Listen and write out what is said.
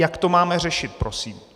Jak to máme řešit, prosím?